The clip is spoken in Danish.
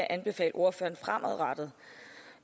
anbefale ordføreren fremadrettet